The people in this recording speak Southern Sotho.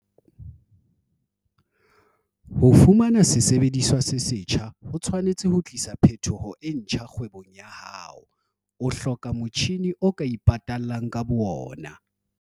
Ho fumana sesebediswa se setjha ho tshwanetse ho tlisa phetoho e ntjha kgwebong ya hao. O hloka motjhine o ka ipatallang ka boona.